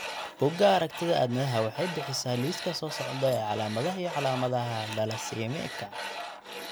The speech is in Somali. Bugaa aragtida aDdanaha waxay bixisaa liiska soo socda ee calaamadaha iyo calaamadaha thalassaemiaka.